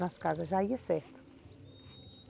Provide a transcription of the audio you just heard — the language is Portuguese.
Nas casas, já ia certo.